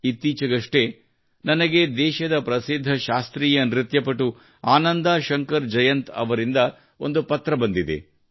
ಇತ್ತೀಚೆಗಷ್ಟೇ ನನಗೆ ದೇಶದ ಪ್ರಸಿದ್ಧ ಶಾಸ್ತ್ರೀಯ ನೃತ್ಯಪಟು ಆನಂದಾ ಶಂಕರ್ ಜಯಂತ್ ಅವರಿಂದ ಒಂದು ಪತ್ರ ಬಂದಿದೆ